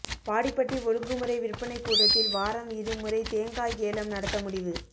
வாடிப்பட்டி ஒழுங்குமுறை விற்பனைக் கூடத்தில் வாரம் இருமுறை தேங்காய் ஏலம் நடத்த முடிவு